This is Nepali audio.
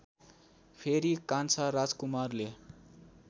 फेरि कान्छा राजकुमारले